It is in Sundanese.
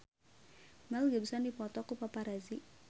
Mel Gibson dipoto ku paparazi